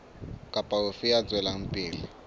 kapa ofe ya tswelang pele